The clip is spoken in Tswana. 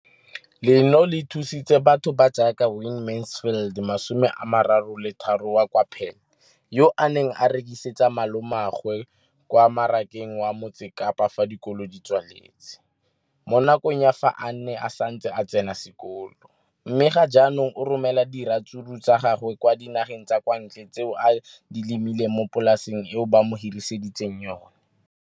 leno le thusitse batho ba ba jaaka Wayne Mansfield, 33, wa kwa Paarl, yo a neng a rekisetsa malomagwe kwa Marakeng wa Motsekapa fa dikolo di tswaletse, mo nakong ya fa a ne a santse a tsena sekolo, mme ga jaanong o romela diratsuru tsa gagwe kwa dinageng tsa kwa ntle tseo a di lemileng mo polaseng eo ba mo hiriseditseng yona.